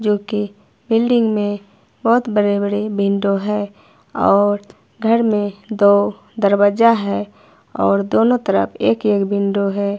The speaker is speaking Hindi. जो की बिल्डिंग में बहुत बड़े बड़े विंडो है और घर में दो दरवाजा है और दोनों तरफ एक एक विंडो है।